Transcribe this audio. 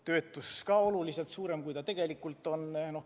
Töötus pidi ka olema oluliselt suurem, kui ta tegelikult on.